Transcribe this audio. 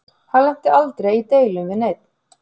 Hann lenti aldrei í deilum við neinn.